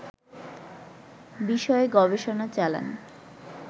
বিষয়ে গবেষণা চালান